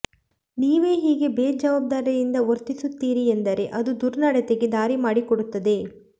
ನೀವೇ ಹೀಗೆ ಬೇಜವಾಬ್ದಾರಿಯಿಂದ ವರ್ತಿಸುತ್ತೀರಿ ಎಂದರೆ ಅದು ದುರ್ನಡತೆಗೆ ದಾರಿ ಮಾಡಿಕೊಡುತ್ತದೆ